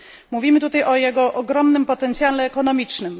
Mówimy tutaj o jego ogromnym potencjale ekonomicznym.